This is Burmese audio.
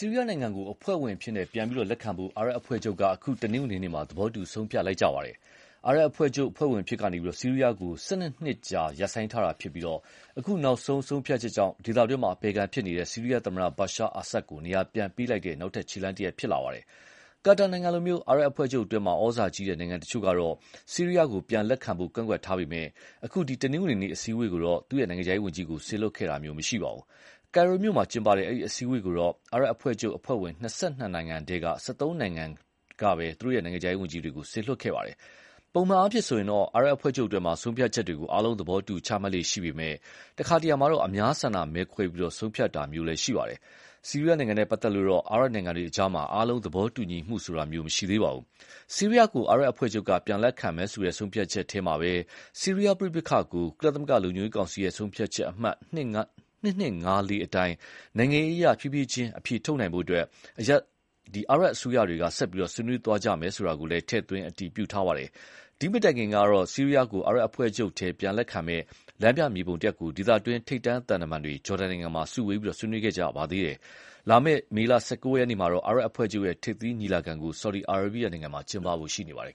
ီးရီးယားနိုင်ငံကို ပြန်လက်ခံဖို့ အာရပ်အဖွဲ့ချုပ်က အခု တနင်္ဂနွေနေ့မှာ သဘောတူဆုံးဖြတ်ခဲ့ကြပါတယ်။ အာရပ်အဖွဲ့ချုပ်အဖွဲ့ဝင်အဖြစ်ကနေ ဆီးရီးယားကို ၁၂ နှစ်ကြာ ရပ်ဆိုင်းထားခဲ့ပြီး အခုနောက်ဆုံး ဆုံးဖြတ်ချက်ကြောင့် ဒေသတွင်းအပယ်ခံ ဆီးရီးယားသမ္မတ Bashar Assad ကို နေရာပြန်ပေးလိုက်တဲ့ နောက်ထပ်ခြေလှမ်းတရပ်ဖြစ်လာပါတယ်။ ကာတာနိုင်ငံလို အာရပ်အဖွဲ့ချုပ်တွင်း ဩဇာကြီးတဲ့နိုင်ငံတချို့ကတော့ ဆီရီးယားကိုပြန်လက်ခံဖို့ ကန့်ကွက်ထားပေမယ့် အခု တနင်္ဂနွေနေ့ အစည်းအဝေးကိုတော့ သူ နိုင်ငံခြားရေးဝန်ကြီးကို စေလွှတ်တာမရှိခဲ့ပါဘူး။ ကိုင်ရိုမြို့မှာကျင်းပတဲ့ အဲဒီ အစည်းအဝေးကိုတော့ အာရပ်အဖွဲ့ချုပ်အဖွဲ့ဝင် ၂၂ နိုင်ငံထဲက ၁၃ နိုင်ငံကသာ သူတို့ နိုင်ငံခြားရေးဝန်ကြီးတွေ စေလွှတ်ခဲ့ပါတယ်။ ပုံမှန်အားဖြင့်ဆိုရင်တော့ အာရပ်အဖွဲ့ချုပ်အတွင်း ဆုံးဖြတ်ချက်တွေကို အားလုံးသဘောတူ ချမှတ်လေ့ရှိပေမယ့် တခါတခါမှာတော့ အများဆန္ဒမဲခွဲပြီး ဆုံးဖြတ်တာလည်းရှိပါတယ်။ ဆီးရီးယားနဲ့ပတ်သက်လို့တော့ အာရပ်နိုင်ငံတွေကြား အားလုံးသဘောတူညီမှုဆိုတာ မရှိသေးပါဘူး။ ဆီးရီးယားကို အာရပ်အဖွဲ့ချုပ်က ပြန်လက်ခံမယ်ဆိုတဲ့ ဆုံးဖြတ်ချက်ထဲမှာပဲ ဆီးရီးယားပဋိပက္ခကို ကုလလုံခြုံရေးကောင်စီဆုံးဖြတ်ချက်အမှတ် ၂၂၅၄ အတိုင်း နိုင်ငံရေးအရဖြည်းဖြည်းချင်းအဖြေထုတ်နိုင်ဖို့ အာရပ်အစိုးရတွေ ဆက်ပြီး ဆွေးနွေးသွားကြဖို့ဆိုတာလည်း ထည့်သွင်းအတည်ပြုထားပါတယ်။ ဒီမတိုင်ခင်ကတော့ ဆီးရီးယားကို အာရပ်အဖွဲ့ချုပ်ထဲ ပြန်လက်ခံမယ့် လမ်းပြမြေပုံတရပ်ကို ဒေသတွင်း ထိပ်တန်းသံတမန်တွေ ဂျော်ဒန်မှာ စုဝေးဆွေးနွေးခဲ့ကြပါသေးတယ်။ လာမယ့် မေလ ၁၉ ရက်နေ့မှာတော့ အာရပ်အဖွဲ့ချုပ် ထိပ်သီးညီလာခံကို ဆော်ဒီအာရေဗီးယားနိုင်ငံမှာ ကျင်းပဖို့ရှိနေပါတယ်